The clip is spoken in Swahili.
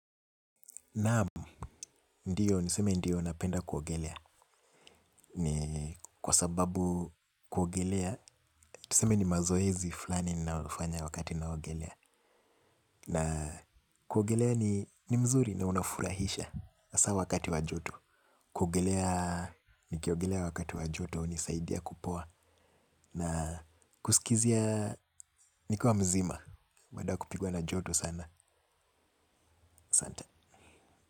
Naam, ndiyo, niseme ndiyo napenda kuogelea, ni kwa sababu kuogelea, niseme ni mazoezi fulani ninayofanya wakati naogelea, na kuogelea ni mzuri na unafurahisha, hasa wakati wa joto, kuogelea, nikiogelea wakati wa joto, hunisaidia kupoa, na kusikizia, nikiwa mzima, baada kupigwa na joto sana, asante.